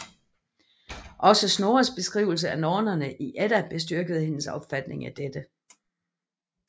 Også Snorres beskrivelse af nornerne i Edda bestyrkede hendes opfatning af dette